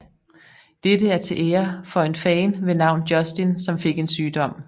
Dette er til ære for en fan ved navn Justin som fik en sygdom